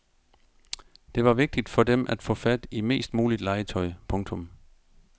Det var vigtigt for dem at få fat i mest muligt legetøj. punktum